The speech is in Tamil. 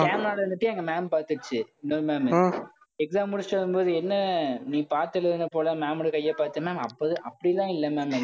camera ல இருந்துட்டு, எங்க ma'am பாத்துருச்சு. இன்னொரு ma'am உ exam முடிச்சுட்டு வரும்போது என்ன? நீ, பாத்து எழுதின போல, ma'am ஓட கையை பார்த்தேன்னா, ma'am அப்ப~ அப்படியெல்லாம் இல்ல ma'am